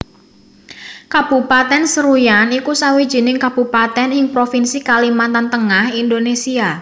Kabupatèn Seruyan iku sawijining kabupatèn ing Provinsi Kalimantan Tengah Indonésia